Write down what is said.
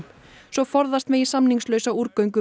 svo forðast megi samningslausa útgöngu